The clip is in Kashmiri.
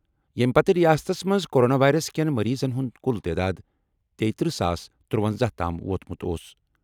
ییٚمہِ پتہٕ رِیاستَس منٛز کورونا وائرس کین مریضَن ہُنٛد کُل تعداد تیتٔرہ ساس ترٗونزہ تام ووتمُت اوس۔